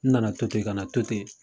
N nana to ten, kana to ten